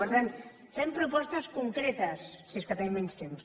per tant fem propostes concretes si és que tenim menys temps